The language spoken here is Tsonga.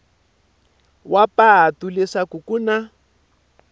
wa patu leswaku ku na